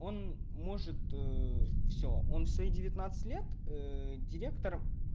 он может все он в свои девятнадцать лет директор